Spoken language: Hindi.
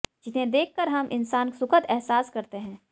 जिन्हें देखकर हम इंसान सुखद एहसास करते हैं